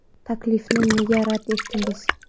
Taklifni nega rad etdingiz?